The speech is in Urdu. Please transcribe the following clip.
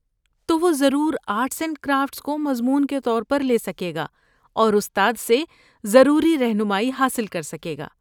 تو، وہ ضرور آرٹس اینڈ کرافٹس کو مضمون کے طور پر لے سکے گا اور استاد سے ضروری رہنمائی حاصل کر سکے گا۔